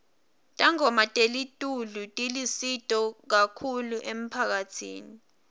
tangoma telitulu tilusito kahulu emphakatsini